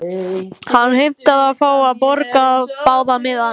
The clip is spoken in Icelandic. Hann heimtaði að fá að borga báða miðana.